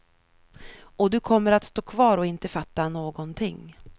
Och du kommer att stå kvar och inte fatta någonting.